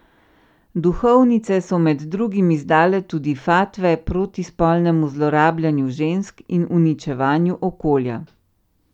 Duhovnice so med drugim izdale tudi fatve proti spolnemu zlorabljanju žensk in uničevanju okolja.